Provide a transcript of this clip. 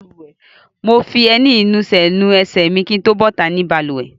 Mo fi ẹní ìnusẹ̀ nu ẹsẹ̀ mi kí n tó bọ́ta nínú balùwẹ̀.